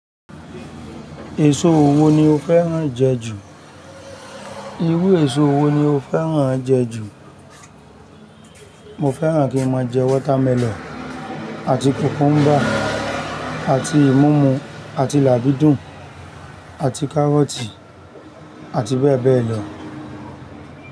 Èso wo ni o fẹ́ràn jẹ ju? Irú èso wo ni o fẹ́ràn jẹ ju? Mo fẹ́ràn kí n máa jẹ watermelon àti cucumber. Àti ìmúmu àti làbídùn àti kárọ́tì àti bẹ́ẹ̀ bẹ́ẹ̀ lọ.